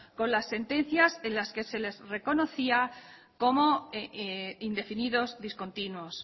con las sentencias en las que se les reconocía como indefinidos discontinuos